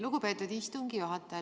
Lugupeetud istungi juhataja!